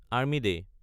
army day